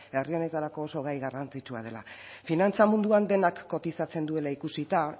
herri honetarako oso gai garrantzitsua dela finantza munduan denak kotizatzen duela ikusita